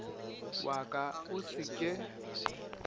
wa ka o se ke